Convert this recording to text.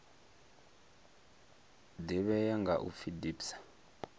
ḓivhea nga u pfi dpsa